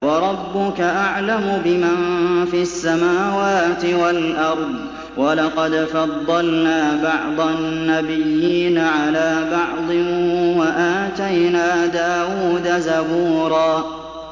وَرَبُّكَ أَعْلَمُ بِمَن فِي السَّمَاوَاتِ وَالْأَرْضِ ۗ وَلَقَدْ فَضَّلْنَا بَعْضَ النَّبِيِّينَ عَلَىٰ بَعْضٍ ۖ وَآتَيْنَا دَاوُودَ زَبُورًا